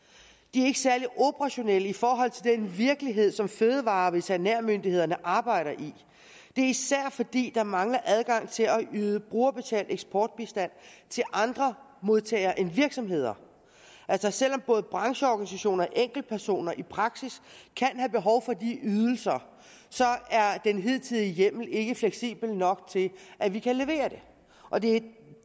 er ikke særlig operationel i forhold til den virkelighed som fødevare og veterinærmyndighederne arbejder i det er især fordi der mangler adgang til at yde brugerbetalt eksportbistand til andre modtagere end virksomheder altså selv om både brancheorganisationer og enkeltpersoner i praksis kan have behov for de ydelser er den hidtidige hjemmel ikke fleksibel nok til at vi kan levere dem og det